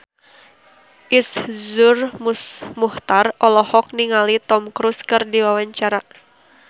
Iszur Muchtar olohok ningali Tom Cruise keur diwawancara